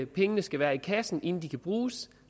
pengene skal være i kassen inden de kan bruges